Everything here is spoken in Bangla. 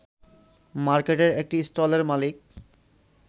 মার্কেটের একটি স্টলের মালিক